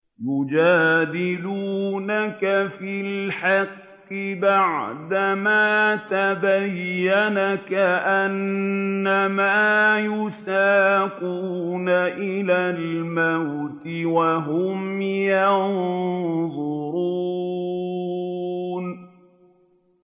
يُجَادِلُونَكَ فِي الْحَقِّ بَعْدَمَا تَبَيَّنَ كَأَنَّمَا يُسَاقُونَ إِلَى الْمَوْتِ وَهُمْ يَنظُرُونَ